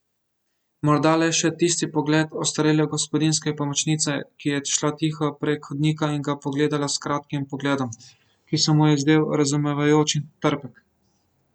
Morda le še tisti pogled ostarele gospodinjske pomočnice, ki je šla tiho prek hodnika in ga pogledala s kratkim pogledom, ki se mu je zdel razumevajoč in trpek.